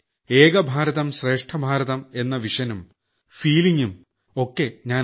ഏകഭാരതം ശ്രേഷ്ഠഭാരതം എന്ന കാഴ്ചപ്പാടും തോന്നലും ഞാൻ